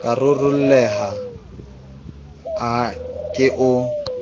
ka rarolleha a ke o